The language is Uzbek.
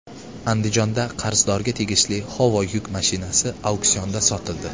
Andijonda qarzdorga tegishli Howo yuk mashinasi auksionda sotildi.